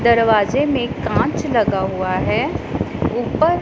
दरवाजे में कांच लगा हुआ है ऊपर--